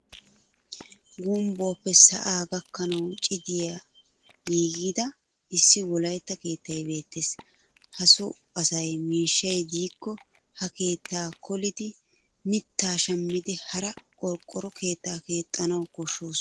Gumbbuwaappe sa'aa gakkanawu cidiyan giigida issi wolaytta keettay beettes. Ha Soo asay miishshay diikko ha keettaa kolidi mittaa shammidi haraa qorqqoro keettaa kexxanawu koshshoosona.